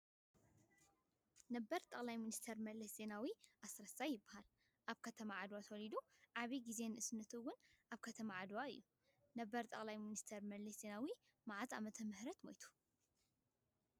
ነበር ጠቅላይ ሚኒስተር መለስ ዜናዊ ኣስረሰይ ይባሃል። ኣብ ከተማ ዓድዋ ተወሊዱ ዓብዩ ግዜ ንእስነቱ እውን ኣብ ከተማ ዓድዋ እዩ። ነበር ጠቅላይ ሚኒስተር መለስ ዜናዊ መዓዝ ዓመተ ምህረት መይቱ?